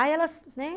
Aí elas, né?